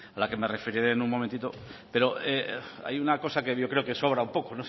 la que me referiré en un momentito pero hay una cosa que yo creo que sobra un poco